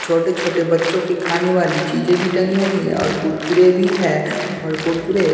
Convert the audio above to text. छोटे-छोटे बच्चों की खाने वाली चीजें भी टंगी हुई है और कुरकुरे भी है और कुरकुरे --